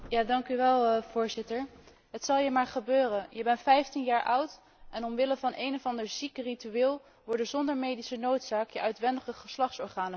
Voorzitter, het zal je maar gebeuren je bent 15 jaar oud en omwille van een of ander ziek ritueel worden zonder medische noodzaak je uitwendige geslachtsorganen verwijderd.